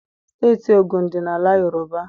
Steeti Ogun dị n'ala Yoroba.